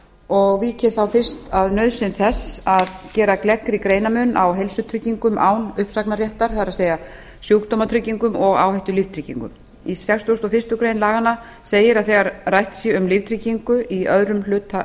og vík ég þá fyrst að nauðsyn þess að gera gleggri greinarmun á heilsutryggingum án uppsagnarréttar það er sjúkdómatryggingum og áhættulíftryggingum í sextugasta og fyrstu grein laganna segir að þegar rætt sé um líftryggingu í öðrum hluta